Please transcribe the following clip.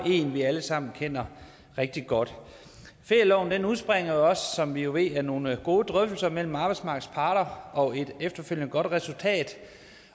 en vi alle sammen kender rigtig godt ferieloven udspringer også som vi jo ved af nogle gode drøftelser mellem arbejdsmarkedets parter og et efterfølgende godt resultat